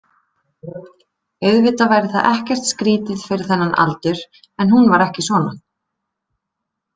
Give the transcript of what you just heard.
Auðvitað væri það ekkert skrýtið fyrir þennan aldur, en hún var ekki svona